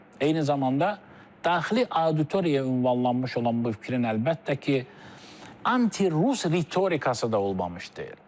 Eyni zamanda daxili auditoriyaya ünvanlanmış olan bu fikrin əlbəttə ki, anti-rus ritorikası da olmamış deyil.